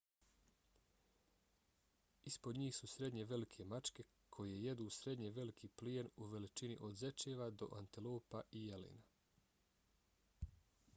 ispod njih su srednje velike mačke koje jedu srednje veliki plijen u veličini od zečeva do antilopa i jelena